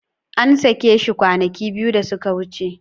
An sake shi kwanaki biyu da suka wuce.